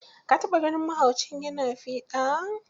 Ka taɓa ganin mahauci ya na fiɗa?